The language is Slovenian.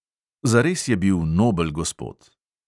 Zares je bil nobel gospod.